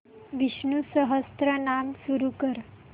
विष्णु सहस्त्रनाम सुरू कर